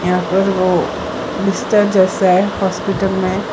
यहां पर वो मिस्टर जोसेफ हॉस्पिटल में --